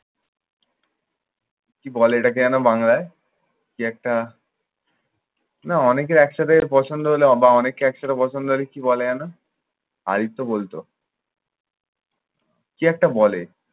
কি বলে এটাকে যেন বাংলায়? কি একটা না অনেকে একসাথে পছন্দ হলে বা অনেককে একসাথে পছন্দ হলে কি বলে যেন? হাই তো বলতো। কি একটা বলে।